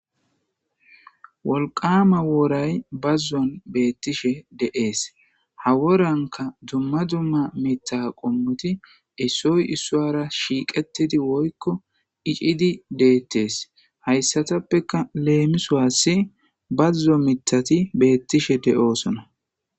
Wolqama woray bazuwan betishe de'es, ha worayka dumma dumma mitha qomoti issoy isuwara shiqetid woyko icid betes. Haysatappeka lemisuwasi bazo mithati betishe de'osona.